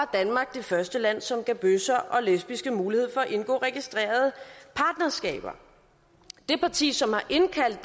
danmark det første land som gav bøsser og lesbiske mulighed for at indgå registrerede partnerskaber det parti som har indkaldt